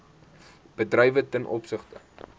bedrywe ten opsigte